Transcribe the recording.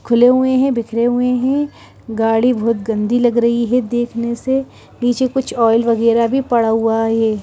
खुले हुए हैं बिखरे हुए हैं गाड़ी बहुत गंदी लग रही है देखने से नीचे कुछ ऑयल वगैरह भी पड़ा हुआ है।